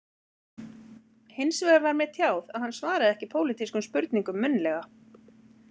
Hins vegar var mér tjáð að hann svaraði ekki pólitískum spurningum munnlega